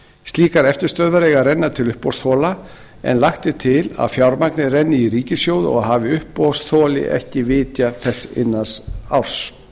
slíkar eftirstöðvar eiga að renna til uppboðsþola en lagt er til að fjármagnið renni í ríkissjóð hafi uppboðsþoli ekki vitjað þess innan árs